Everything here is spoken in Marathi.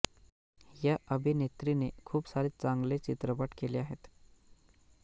या अभिनेत्री ने खूप सारे चांगले चित्रपट केले आहेत